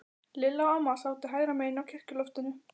Lilla og amma sátu hægra megin á kirkjuloftinu.